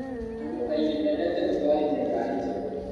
Andũ aingĩ mendete gũtwarithia ngari njerũ.